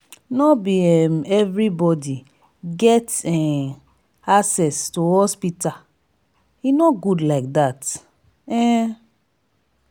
no be um everybody get um access to hospital e no good like dat. um